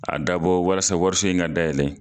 A dabɔ walas wariso in ka dayɛlɛn.